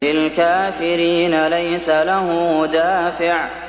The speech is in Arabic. لِّلْكَافِرِينَ لَيْسَ لَهُ دَافِعٌ